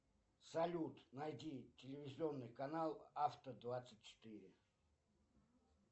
салют найди телевизионный канал авто двадцать четыре